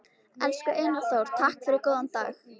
Elsku Einar Þór, takk fyrir góðan dag.